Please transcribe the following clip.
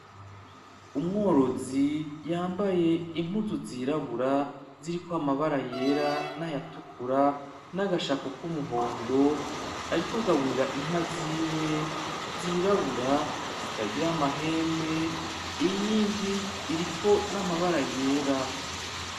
Umworozi yambaye impuzu zirabura ziriko amabara yera n'ayatukura, naga shapo k'umuhondo. Ariko agaburira inka ziwe zirabura zitagira amahembe. Iyindi iriko n'amabara yera.